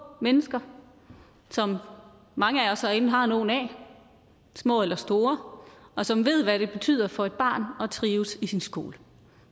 mennesker som mange af os herinde har nogle af små eller store og som ved hvad det betyder for et barn at trives i sin skole